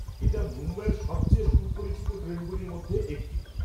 এটা মুম্বই-এর সবচেয়ে সুপরিচিত ট্রেনগুলোর মধ্যে একটি।